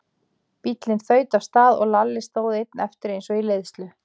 Bíllinn þaut af stað og Lalli stóð einn eftir eins og í leiðslu.